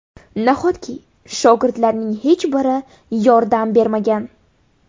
Nahotki shogirdlarning hech biri yordam bermagan?